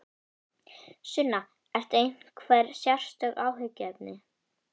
Sunna: Eru einhver sérstök áhyggjuefni?